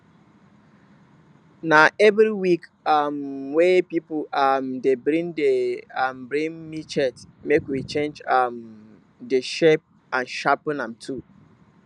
na every week um wey pipul um dey bring dey bring machete make we change um de shape and sharpen am too